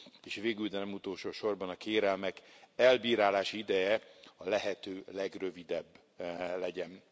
És végül, de nem utolsó sorban a kérelmek elbírálási ideje a lehető legrövidebb legyen.